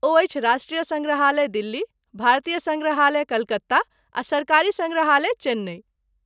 ओ अछि राष्ट्रीय सङ्ग्रहालय दिल्ली, भारतीय सङ्ग्रहालय कलकत्ता, आ सरकारी सङ्ग्रहालय चेन्नई।